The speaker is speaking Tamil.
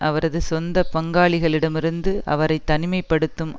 அவரது சொந்த பங்காளிடமிருந்து அவரை தனிமை படுத்தும்